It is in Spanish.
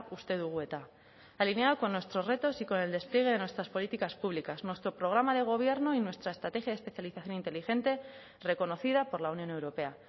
uste dugu eta alineado con nuestros retos y con el despliegue de nuestras políticas públicas nuestro programa de gobierno y nuestra estrategia de especialización inteligente reconocida por la unión europea